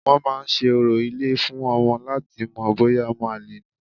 Wọ́n máa ń se orò ilé fún ọmọ láti mọ̀ bóyá ọmọ àlè ni